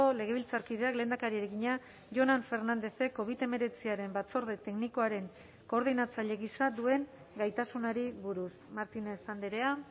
legebiltzarkideak lehendakariari egina jonan fernándezek covid hemeretziaren batzorde teknikoaren koordinatzaile gisa duen gaitasunari buruz martínez andrea